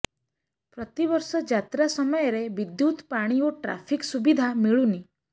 ପ୍ରତିବର୍ଷ ଯାତ୍ରା ସମୟରେ ବିଦ୍ୟୁତ ପାଣି ଓ ଟ୍ରାଫିକ ସୁବିଧା ମିଳୁନି